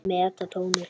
Meta tjónið.